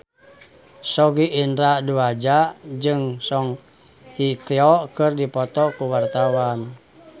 Sogi Indra Duaja jeung Song Hye Kyo keur dipoto ku wartawan